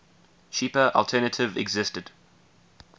cheaper alternative existed